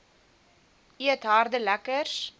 eet harde lekkers